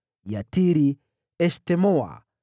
Yatiri, Eshtemoa,